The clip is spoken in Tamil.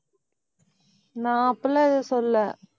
நான் அப்படி எல்லாம் எதுவும் சொல்லல.